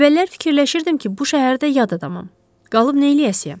Əvvəllər fikirləşirdim ki, bu şəhərdə yad adamam, qalıb neyləyəcəyəm.